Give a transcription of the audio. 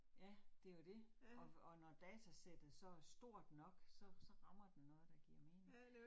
Ja, det jo det. Og og når datasættet så så er stort nok, så rammer den noget, der giver mening